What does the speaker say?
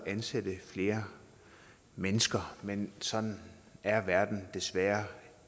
at ansætte flere mennesker men sådan er verden desværre